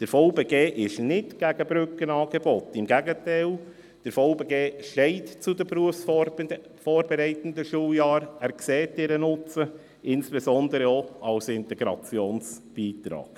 Der VBG ist nicht gegen Brückenangebote, im Gegenteil, der VBG steht zu den BVS und sieht deren Nutzen insbesondere auch als Integrationsbeitrag.